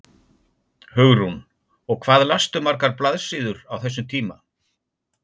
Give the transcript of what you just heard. Hugrún: Og hvað lastu margar blaðsíður á þessum tíma?